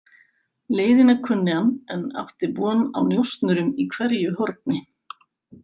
Leiðina kunni hann en átti von á njósnurum í hverju horni.